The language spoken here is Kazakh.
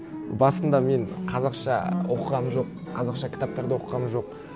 басында мен қазақша оқығаным жоқ қазақша кітаптарды оқығаным жоқ